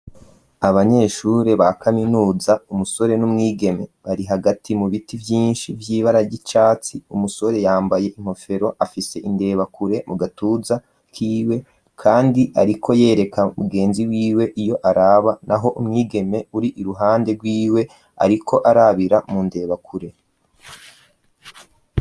Abanyeshure ba kaminuza umusore n'umwigeme bari hagati mu biti vyinshi vy'ibara ry'icatsi umusore yambaye inkofero afise indebakure mu gatuza kiwe kandi ariko yereka mugenzi wiwe iyo araba naho umwigeme uri iruhande rwiwe ariko arabira mu ndebakure.